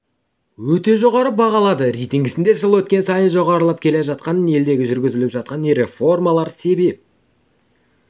өте жоғары бағалады рейтингісінде жыл өткен сайын жоғарылап келе жатқанына елдегі жүргізіліп жатқан реформалар себеп